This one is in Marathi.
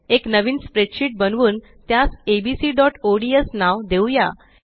एक नवीन स्प्रेडशीट बनवून त्यास abcओडीएस नाव देऊया